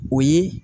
O ye